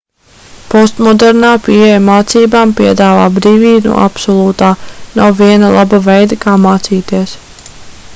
postmodernā pieeja mācībām piedāvā brīvību no absolūtā nav viena laba veida kā mācīties